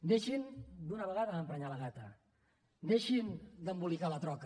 deixin d’una vegada d’emprenyar la gata deixin d’embolicar la troca